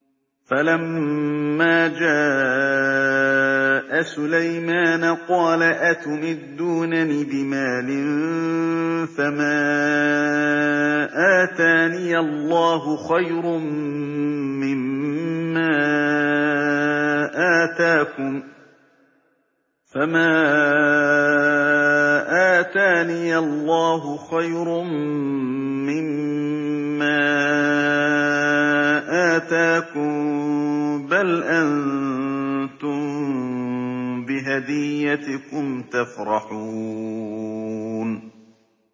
فَلَمَّا جَاءَ سُلَيْمَانَ قَالَ أَتُمِدُّونَنِ بِمَالٍ فَمَا آتَانِيَ اللَّهُ خَيْرٌ مِّمَّا آتَاكُم بَلْ أَنتُم بِهَدِيَّتِكُمْ تَفْرَحُونَ